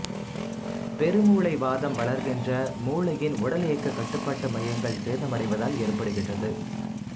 பெருமூளை வாதம் வளர்கின்ற மூளையின் உடலியக்க கட்டுப்பாட்டு மையங்கள் சேதமடைவதால் ஏற்படுகின்றது